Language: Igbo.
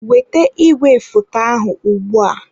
Weta igwefoto ahụ ugbu a!